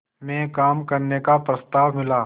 में काम करने का प्रस्ताव मिला